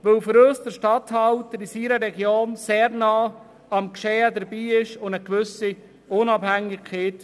Für uns ist der Regierungsstatthalter in seiner Region sehr nahe am Geschehen dran und hat eine gewisse Unabhängigkeit.